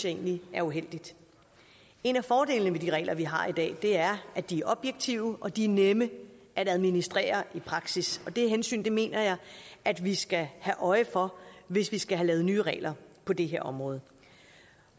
egentlig er uheldigt en af fordelene ved de regler vi har i dag er at de er objektive og de er nemme at administrere i praksis og det hensyn mener jeg at vi skal have øje for hvis vi skal have lavet nye regler på det her område